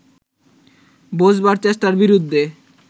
বোঝবার চেষ্টার বিরুদ্ধে